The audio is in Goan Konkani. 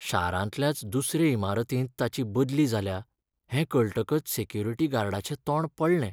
शारांतल्याच दुसरे इमारतींत ताची बदली जाल्या हें कळटकच सॅक्युरीटी गार्डाचें तोंड पडलें.